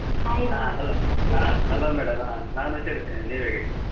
Hello madam ಹಾ. ನಾನ್ ಹುಷಾರಿದ್ದೇನೆ. ನೀವ್ ಹೇಗಿದ್ದೀರಿ?